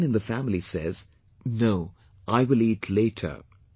But if someone in the family says, "No, I will eat later